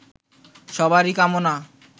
সবারই কামনা